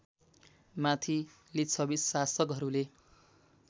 माथि लिच्छवी शासकहरूले